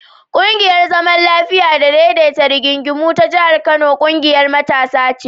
ƙungiyar zaman lafiya da daidaita rigingimu ta jihar Kano ƙungiyar matasa ce.